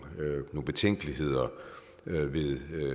betænkeligheder ved